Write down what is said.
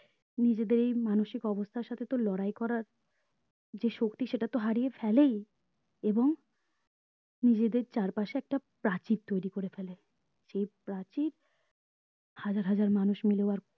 নিজেদের এই মানসিক অবস্তার সাথে তো লড়াই করার যে শক্তি সেটা তো হারিয়ে ফেলেই এবং নিজেদের চারপাশে একটা প্রাচীর তৈরী করে ফেলে যে প্রাচীর হাজার হাজার মানুষ মিলেও আর